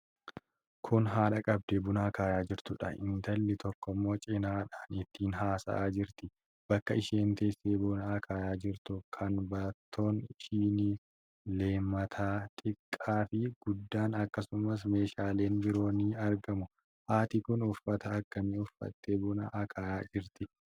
Kun haadha qabdee buna akaayaa jirtuudha. Intalli tokkommo cinaadhaan itti haasa'aa jirti. Bakka isheen teesse buna akaayaa jirtu kan baattoon shinii, leemataa xiqqaa fi guddaan akkasumas meeshaaleen biroo ni argamu. Haati kun uffata akkamii uffattee buna akaayaa jirti?